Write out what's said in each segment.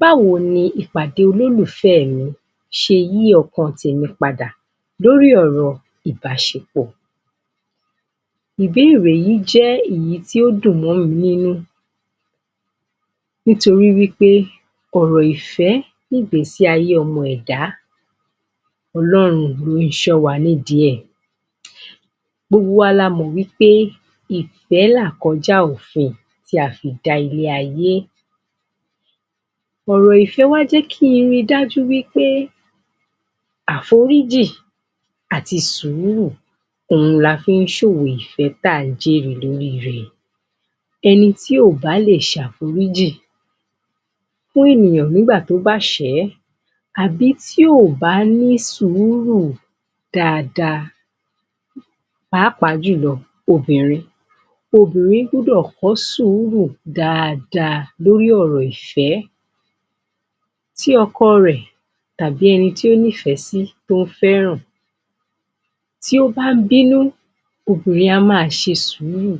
Báwo ni ìpàdé olólùfẹ́ mi ṣe yí ọkàn mi padà lórí ọ̀rọ̀ ìbáṣepọ̀? Ìbéèrè yí jẹ́ èyí tó dùn mọ́ mi nínú. Nítorí wípé ọ̀rọ̀ ìfé ní ìgbésí ayé ọmọ ẹ̀dá Ọlọ́run ló ń ṣó wa nídìí ẹ̀. Gbogbo wa la mọ̀ wípé, ìfé làkójá òfin tí a fi dálé ayé tí a fi dá ilé ayé. Ọ̀rọ̀ ìfé wá jẹ́ kí n ri dájú wípé, àforíjìn àti sùúrù òun la fi ń ṣòwò ìfé tí à ń jèrè lórí rè. Ẹni tí ò bá le ṣàforíjìn fún ènìyàn nígbà tí ó bá ṣẹ̀ ẹ́ àbí tí ò bá ní sùúrù dáadáa. Pàápàa jùlọ obìnrin obìnrin gbúdò kọ́ sùúrù dáadáa lórí ọ̀rọ̀ ìfẹ́ tí ọkọ rẹ̀ tàbí ẹni tí ó ní ìfẹ́ sí tí ó fẹràn bá ń bínú obìnrin a máa ṣe sùúrù,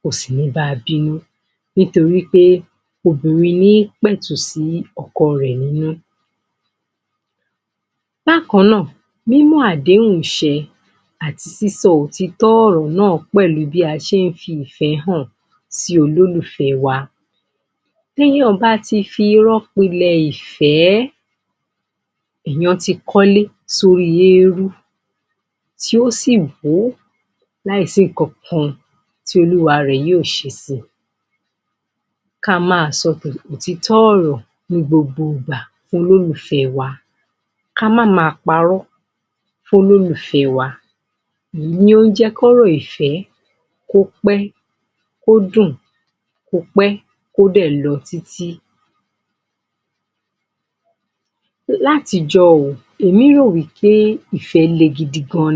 kòsì ní ba bínú. Nítorí pé obìnrin ní í pẹtù sí ọkọ ẹ̀ nínú ……..Bákannáà, mímu àdéhùn ṣe àti sísọ òtító ọ̀rọ̀ náà pẹ̀lú bí a ṣe ń fi ìfẹ́ hàn sí olólùfẹ́ wa. Téyàn bá ti fi iró pilẹ̀ ìfẹ́, èèyàn ti kólé sórí éérú tí ó sì hó láì sí nǹkan tí olúwa rè yóò ṣe si. Ká máa sọ òtítọ́ ọ̀rọ̀ ní gbogbo ìgbà fún olólùfé wa. Ká máa parọ́ fún olólùfẹ́ wa. Èyí ló máa ń jẹ́ kọ́rọ̀ ìfẹ́ kó pé, kó dùn, kó pé, kó dẹ̀ lọ títí………… látijó yìí èmi máa ń rò pé ìfẹ́ le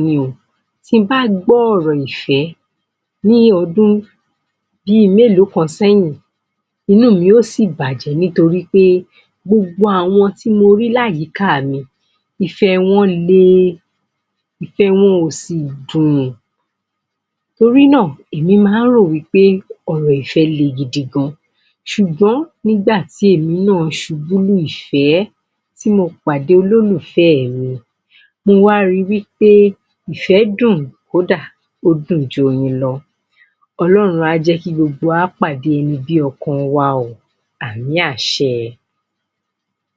ni. Tí mo bá gbọ́ ọ̀rọ̀ ìfẹ́, ní ọdún bi mélòó kan sẹ́yìn inú mi yóò sì bàjẹ́ wípé gbogbo àwọn tí mo rí ní àyíká mi ni ìfẹ́ wọn le, ìfẹ wọ́n ò sì dùn. Torí náà èmi máa ń rò pé ọ̀rọ̀ ìfẹ́ le gan. Ṣùgbọ́n nígbàtí èmi náà ṣubú lùfẹ́, tí mo pàdé olólùfẹ́ẹ̀ mi. Mo wá ri wípé, ìfẹ́ dùn, ó dùn joyin lọ. Ọlọ́run á jẹ́ kí gbogbo wa pàdé olólùfẹ́ bí ọkan wa o. Àmí àṣẹ